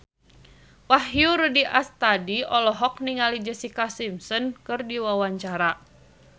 Wahyu Rudi Astadi olohok ningali Jessica Simpson keur diwawancara